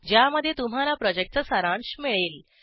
ज्यामध्ये तुम्हाला प्रॉजेक्टचा सारांश मिळेल